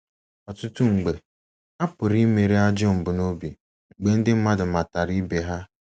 Ọtụtụ mgbe, a pụrụ imeri ajọ mbunobi mgbe ndị mmadụ matara ibe ha.